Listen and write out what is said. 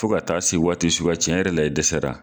Fo ka taa se waati suguya cɛn yɛrɛ la i dɛsɛra